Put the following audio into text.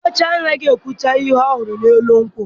Diochi anaghị ekwucha ihe ọ hụrụ n’elu nkwụ